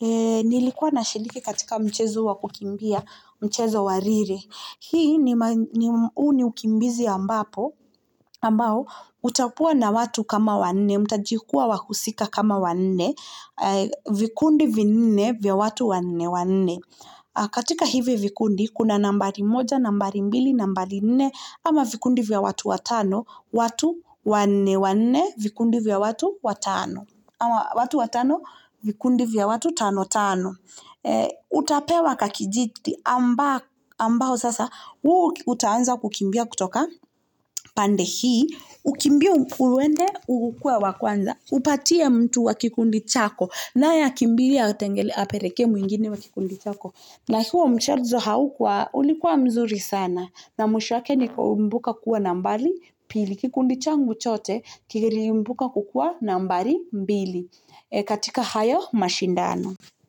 Nilikuwa nashiriki katika mchezo wa kukimbia, mchezo wa relay huu ni unikimbizi ambapo, ambao utakuwa na watu kama wanne, mutajikua wakusika kama wa nne, vikundi vinne vya watu wanne wanne. Katika hivi vikundi, kuna nambari moja, nambari mbili, nambari nne, ama vikundi vya watu watano, watu wanne wanne, vikundi vya watu watano. Ama watu watano, vikundi vya watu tano tano. Utapewa kakijiti, ambao sasa, huu utaanza kukimbia kutoka pande hii, ukimbie uende, ukuwe wa kwanza, upatie mtu wa kikundi chako, naye akimbie apeleke mwengine wa kikundi chako. Na huo mchezo haukua ulikuwa mzuri sana na mwisho wake ni kumbuka kuwa nambari pili kikundi changu chote kiliibuka kukuwa nambari mbili katika hayo mashindano.